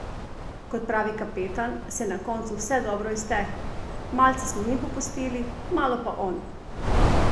Kot pravi kapetan, se je na koncu vse dobro izteklo: 'Malce smo mi popustili, malo pa on.